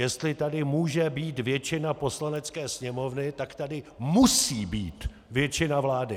Jestli tady může být většina Poslanecké sněmovny, tak tady musí být většina vlády!